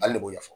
Ale de b'o ɲɛfɔ